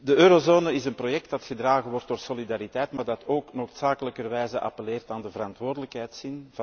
De eurozone is een project dat gedragen wordt door solidariteit, maar dat ook noodzakelijkerwijs appelleert aan de verantwoordelijkheidszin.